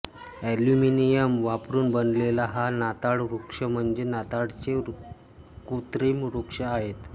aluminium वापरून बनवलेला हा नाताळ वृक्ष म्हणजे नाताळचे कृत्रिम वृक्ष आहेत